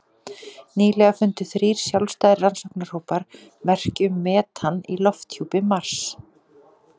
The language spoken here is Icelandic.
Nýlega fundu þrír sjálfstæðir rannsóknarhópar merki um metan í lofthjúpi Mars.